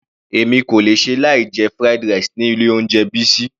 Èmi kò lè ṣe láì jẹ fried rice ni ilé oúnjẹ Bisi.